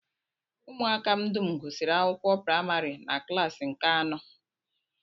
Ụmụaka m dum gụsiri akwụkwọ praịmarị na klaasị nke anọ